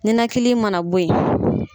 Ninakili mana bɔ yen.